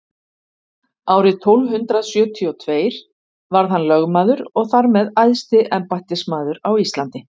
árið tólf hundrað sjötíu og tveir varð hann lögmaður og þar með æðsti embættismaður á íslandi